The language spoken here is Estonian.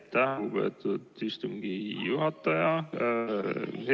Aitäh, lugupeetud istungi juhataja!